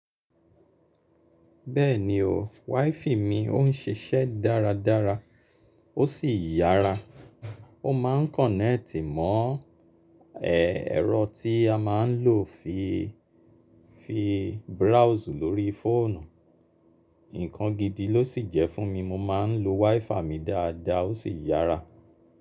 Bẹ́ẹ̀ni o, WiFi mi ò ń ṣíṣẹ dáradára, ó sì yára. Ó máa ń kọ̀nẹ́ẹ̀tì mọ́ ẹ̀rọ tí a máa ń lò fi browse lórí fóònù. Ǹkan gidi ló sì jẹ́ fún mi, mo máa ń lo WiFi mi dáadáa, ó sì yára.